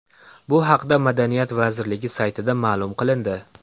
Bu haqda madaniyat vazirligi saytida ma’lum qilindi .